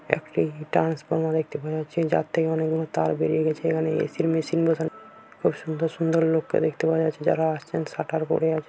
একটি ট্রান্সফরমার দেখতে পাওয়া যাচ্ছে। একটি জাত থেকে অনেকগুলো তার বেরিয়ে গেছে এখানে এ.সি. -র মেশিন বসানো ও খুব সুন্দর সুন্দর লোককে দেখতে পাওয়া যাচ্ছে যারা একসঙ্গে সাটার পরে আ--